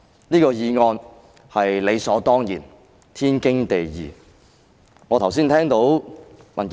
此項議案是理所當然、天經地義的。